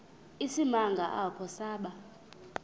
isimanga apho saba